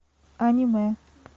аниме